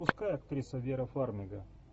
пускай актриса вера фармига